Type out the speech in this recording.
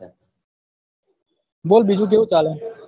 બોલ બીજું કેવું ચાલે